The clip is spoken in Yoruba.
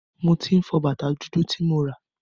Mo tí ń fọ bàtá dúdú ti mo rà.